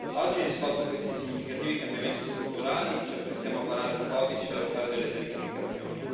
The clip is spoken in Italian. Oggi, in risposta a questi significativi cambiamenti strutturali, ci apprestiamo a varare un codice europeo delle telecomunicazioni.